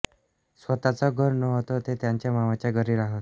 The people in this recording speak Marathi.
स्वतःचं घर नव्हतं ते त्यांच्या मामांच्या घरी राहत